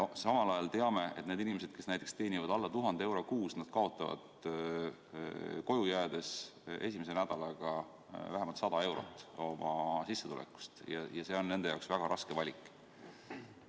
Samal ajal me teame, et need inimesed, kes teenivad alla 1000 euro kuus, kaotavad koju jäädes esimese nädalaga vähemalt 100 eurot oma sissetulekust, ja see on nende jaoks väga raske valik.